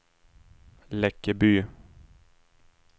Läckeby